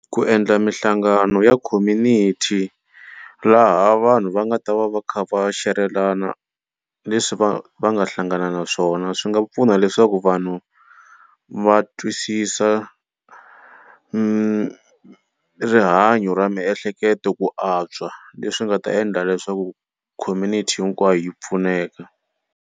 Ku endla mihlangano ya community laha vanhu va nga ta va va kha va xerelana leswi va va nga hlangana na swona swi nga pfuna leswaku vanhu va twisisa rihanyo ra miehleketo ku antswa leswi nga ta endla leswaku community hinkwayo yi pfuneka.